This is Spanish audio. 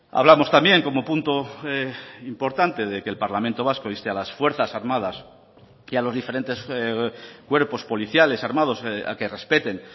hablamos también como punto importante de que el parlamento vasco inste a las fuerzas armadas y a los diferentes cuerpos policiales armados a que respeten